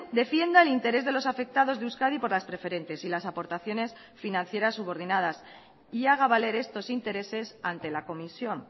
defienda el interés de los afectados de euskadi por las preferentes y las aportaciones financieras subordinadas y haga valer estos intereses ante la comisión